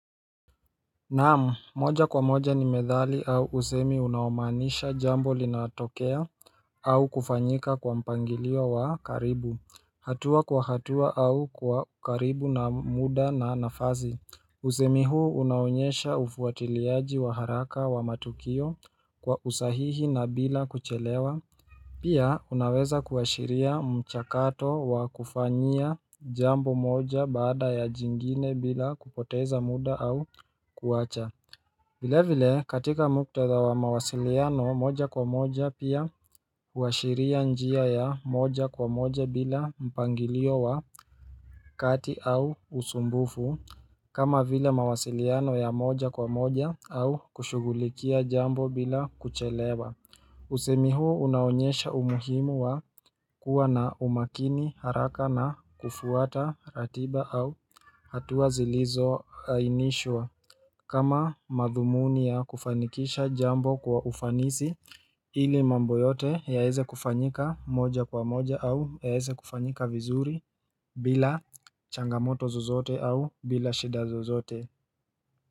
Naam, moja kwa moja ni methali au usemi unaomaanisha jambo linatokea au kufanyika kwa mpangilio wa karibu hatua kwa hatua au kwa karibu na muda na nafasi Usemi huu unaonyesha ufuatiliaji wa haraka wa matukio kwa usahihi na bila kuchelewa Pia unaweza kuashiria mchakato wa kufanyia jambo moja baada ya jingine bila kupoteza muda au kuacha vile vile katika muktadha wa mawasiliano moja kwa moja pia huashiria njia ya moja kwa moja bila mpangilio wa kati au usumbufu kama vile mawasiliano ya moja kwa moja au kushugulikia jambo bila kuchelewa Usemi huo unaonyesha umuhimu wa kuwa na umakini haraka na kufuata ratiba au hatua zilizoainishwa kama madhumuni ya kufanikisha jambo kwa ufanisi ili mambo yote yaeze kufanyika moja kwa moja au yaeze kufanyika vizuri bila changamoto zozote au bila shida zozote.